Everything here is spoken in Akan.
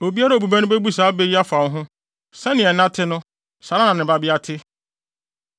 “ ‘Obiara a obu bɛ no bebu saa bɛ yi afa wo ho: “Sɛnea ɛna te no saa ara na ne babea te.”